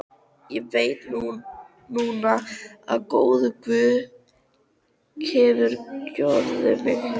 Ég veit núna að góður guð hefur kjörið mig.